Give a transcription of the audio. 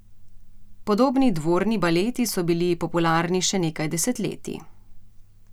Podobni dvorni baleti so bili popularni še nekaj desetletij.